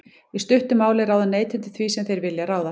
í stuttu máli ráða neytendur því sem þeir vilja ráða